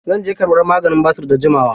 Zan je karɓa maganin basir da jimawa.